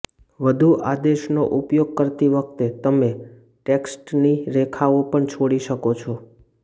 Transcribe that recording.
વધુ આદેશનો ઉપયોગ કરતી વખતે તમે ટેક્સ્ટની રેખાઓ પણ છોડી શકો છો